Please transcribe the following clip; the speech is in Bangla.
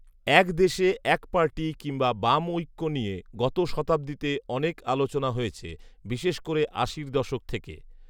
এক দেশে এক পার্টি কিংবা বামঐক্য নিয়ে গত শতাব্দীতে অনেক আলোচনা হয়েছে, বিশেষ করে আশির দশক থেকে